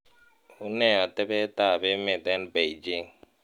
unee otebet ab emet en beijing